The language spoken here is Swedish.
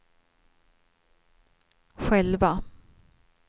själva